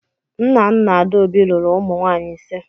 Nnanna Adaobi lụrụ ụmụ nwaanyị ịse.